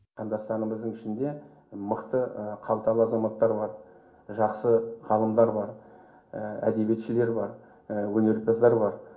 қандастарымыздың ішінде мықты қалталы азаматтар бар жақсы ғалымдар бар әдебиетшілер бар өнерпаздар бар